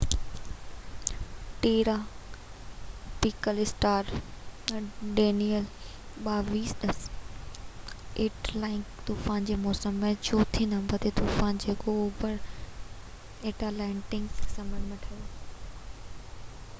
tropical storm Danielle 2010 Atlantic طوفان جي موسم جو چوٿين نمبر تي طوفان جيڪو اوڀر ايٽلانٽڪ سمنڊ ۾ ٺهيو